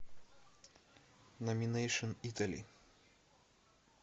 номинэйшн итали